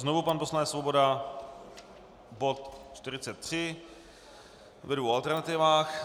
Znovu pan poslanec Svoboda, bod 43 ve dvou alternativách.